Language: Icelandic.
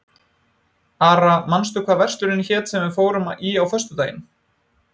Ara, manstu hvað verslunin hét sem við fórum í á föstudaginn?